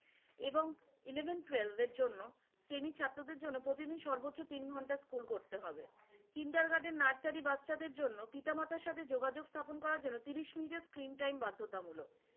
এবং eleven twelve এর জন্য semi ছাত্রদের জন্য প্রতিদিন সর্বোচ্চ তিন ঘন্টা স্কুল করতে হবে। কিন্ডারগার্ডেন নার্সারি বাচ্চাদের জন্য পিতামাতার সাথে যোগাযোগ স্থাপন করার জন্য ত্রিশ মিনিটের screen time বাধ্যতামূলক।